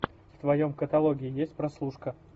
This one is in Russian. в твоем каталоге есть прослушка